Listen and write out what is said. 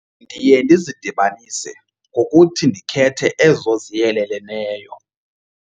Ndiye ndizidibanise ngokuthi ndikhethe ezo ziyeleleneyo.